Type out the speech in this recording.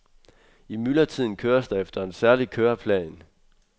I myldretiden køres der efter en særlig køreplan.